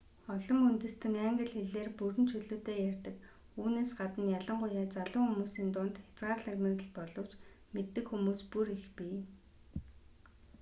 олон үндэстэн англи хэлээр бүрэн чөлөөтэй ярьдаг үүнээс гадна ялангуяа залуу хүмүүсийн дунд хязгаарлагдмал боловч мэддэг хүмүүс бүр их бий